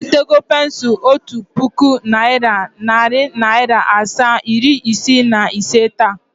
I retago pensul Otu puku naira, nari naira asaa, iri isii na ise taa?